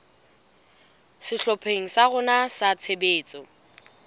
sehlopheng sa rona sa tshebetso